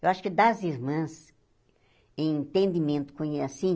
Eu acho que das irmãs, em entendimento